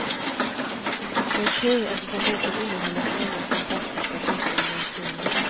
Det är tur, eftersom boken innehåller så många fantastiska och otroliga historier.